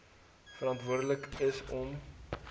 verantwoordelik is om